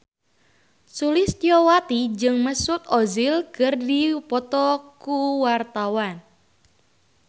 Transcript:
Sulistyowati jeung Mesut Ozil keur dipoto ku wartawan